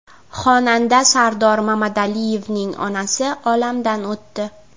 Xonanda Sardor Mamadaliyevning onasi olamdan o‘tdi.